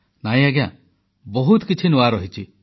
ନାହିଁ ଆଜ୍ଞା ବହୁତ କିଛି ନୂଆ ରହିଛି